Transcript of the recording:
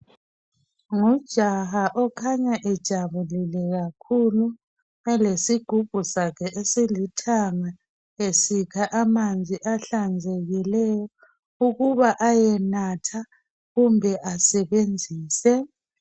Ngujaha okhanya ejabulile kakhulu elesigubhu sakhe esilithanga esikha amanzi ahlanzekileyo ukuba ayenatha kumbe asebenzise